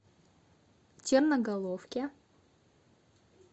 черноголовке